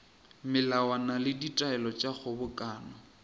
melawana le ditaelo tša kgobokano